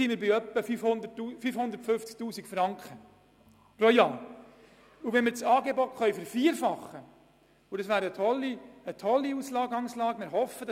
Eine Vervierfachung der Angebote löst Jahreskosten von 1,4 Mio. Franken aus.